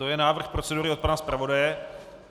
To je návrh procedury od pana zpravodaje.